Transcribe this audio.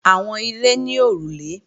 Àwọn ilé ní òrùlé